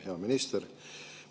Hea minister!